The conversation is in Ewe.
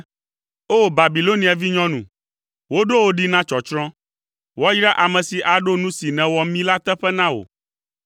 O! Babilonia vinyɔnu, woɖo wò ɖi na tsɔtsrɔ̃, woayra ame si aɖo nu si nèwɔ mí la teƒe na wò,